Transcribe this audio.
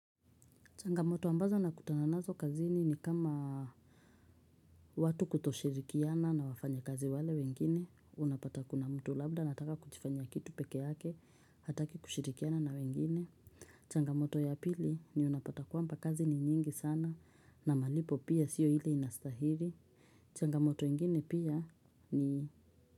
Changamoto ambazo nakutana nazo kazini ni kama watu kutoshirikiana na wafanyikazi wale wengine, unapata kuna mtu labda anataka kujfanyia kitu peke yake, hataki kushirikiana na wengine. Changamoto ya pili ni unapata kwamba kazi ni nyingi sana na malipo pia siyo hile inastahiri. Changamoto ingine pia ni.